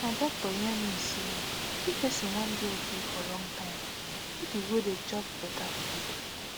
my doctor yarn me say if person wan dey okay for long time make e go dey chop better food